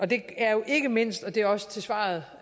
det er jo ikke mindst og det er også svaret